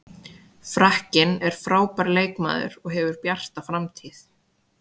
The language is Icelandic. Frakkinn er frábær leikmaður og hefur bjarta framtíð.